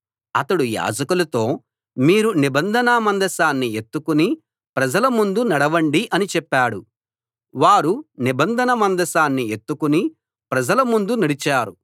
అతడు యాజకులతో మీరు నిబంధన మందసాన్ని ఎత్తుకుని ప్రజల ముందు నడవండి అని చెప్పాడు వారు నిబంధన మందసాన్ని ఎత్తుకుని ప్రజల ముందు నడిచారు